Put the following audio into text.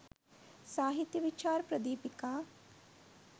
සාහිත්‍ය විචාර ප්‍රදීපිකා